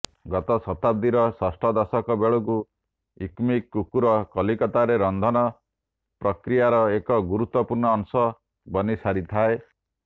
ଗତ ଶତାବ୍ଦୀର ଷଷ୍ଠଦଶକ ବେଳକୁ ଇକମିକ କୁକର କଲିକତାରେ ରନ୍ଧନ ପ୍ରକ୍ରିୟାର ଏକ ଗୁରୁତ୍ୱପୂର୍ଣ୍ଣ ଅଂଶ ବନିସାରିଥାଏ